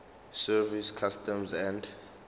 service customs and